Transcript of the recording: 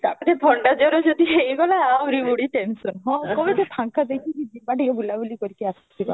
ତାପରେ ଥଣ୍ଡା ଜର ଯଦି ହେଇଗଲା ଆହୁରି ପୁଣି tension ହଁ ଟିକେ ଫାଙ୍କା ଦେଖିକି ଯିବା ଟିକେ ବୁଲା ବୁଲି କରିକି ଆସିବା